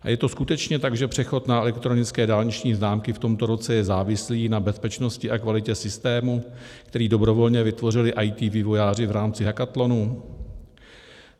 A je to skutečně tak, že přechod na elektronické dálniční známky v tomto roce je závislý na bezpečnosti a kvalitě systému, který dobrovolně vytvořili IT vývojáři v rámci hackathonu?